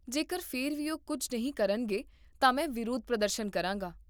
ਜੇਕਰ ਫਿਰ ਵੀ ਉਹ ਕੁੱਝ ਨਹੀਂ ਕਰਨਗੇ ਤਾਂ ਮੈਂ ਵਿਰੋਧ ਪ੍ਰਦਰਸ਼ਨ ਕਰਾਂਗਾ